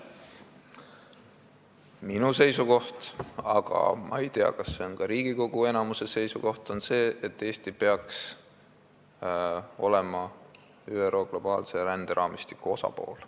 Minu seisukoht – ma ei tea, kas see on ka Riigikogu enamuse seisukoht – on see, et Eesti peaks olema ÜRO globaalse ränderaamistiku osapool.